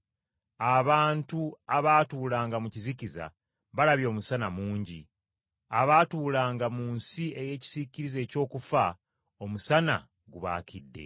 abantu abaatuulanga mu kizikiza, balabye Omusana mungi. Abaatuulanga mu nsi ey’ekisiikirize eky’okufa, omusana gubaakidde.”